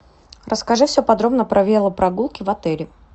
расскажи все подробно про велопрогулки в отеле